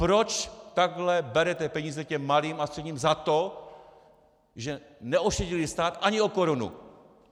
Proč takhle berete peníze těm malým a středním za to, že neošidili stát ani o korunu?